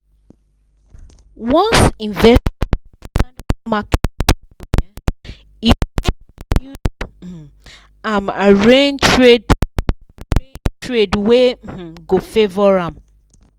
once inves mark e fiam arrange trade .trade wey um go favour am.